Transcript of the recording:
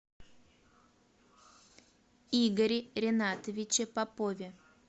игоре ринатовиче попове